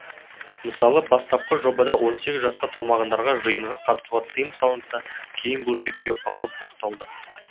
мысалы бастапқы жобада он сегіз жасқа толмағандарға жиынға қатысуға тыйым салынса кейін бұл шектеу алынып тасталды